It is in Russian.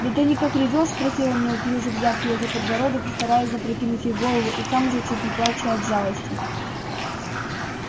да ты никак ревёшь спросил он неуклюже взяв её за подбородок и стараясь запрокинуть ей голову и сам уже чуть не плача от жалости